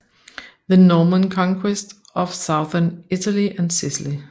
The Norman Conquest of Southern Italy and Sicily